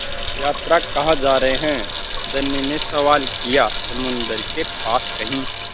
यात्रा कहाँ जा रहे हैं धनी ने सवाल किया समुद्र के पास कहीं